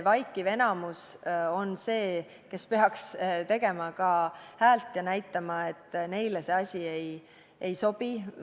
Vaikiv enamus on see, kes peaks ka häält tegema ja näitama, et neile see asi ei sobi.